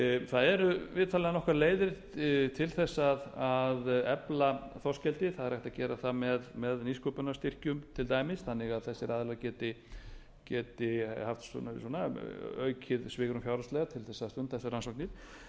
það eru vitanlega nokkrar leiðir til að efla þorskeldi það er hægt að gera það með nýsköpunarstyrkjum til dæmis þannig að þessir aðilar geti haft aukið svigrúm fjárhagslega til að stunda